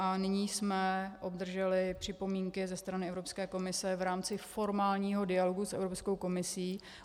A nyní jsme obdrželi připomínky ze strany Evropské komise v rámci formálního dialogu s Evropskou komisí.